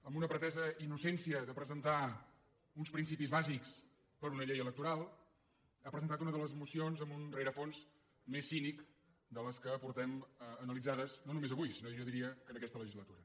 amb una pretesa innocència de presentar uns principis bàsics per a una llei electoral ha presentat una de les mocions amb un rerefons més cínic de les que hem analitzat no només avui sinó que jo diria que en aquesta legislatura